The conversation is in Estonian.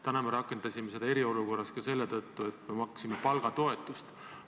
Täna me rakendasime seda eriolukorras ka selle tõttu, et me maksime palgatoetust.